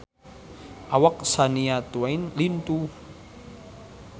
Awak Shania Twain lintuh